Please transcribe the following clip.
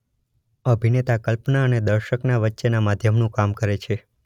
અભિનેતા કલ્પના અને દર્શકના વચ્ચેના માધ્યમનું કામ કરે છે.